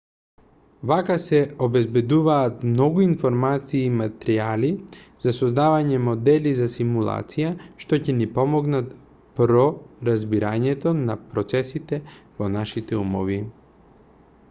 вака се обезбедуваат многу информации и материјали за создавање модели за симулација што ќе ни помогнат про разбирањето на процесите во нашите умови